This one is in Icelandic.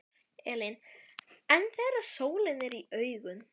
Elín: En þegar sólin er í augun?